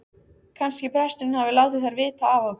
Kannski presturinn hafi látið þær vita af okkur.